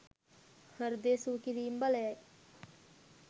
හෘදය සුවකිරීමේ බලයයි.